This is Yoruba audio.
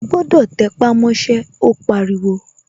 O gbọ́dọ̀ tẹpámọ́ṣẹ́, ó pariwo